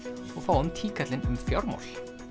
og fáum Tíkallinn um fjármál